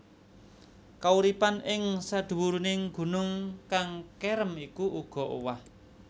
Kauripan ing sadhuwuring gunung kang kerem iku uga owah